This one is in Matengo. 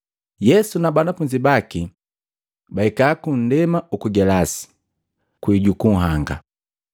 Yesu na banafunzi baki bahika ku nndema uku Gelasi, kwii juku nhanga.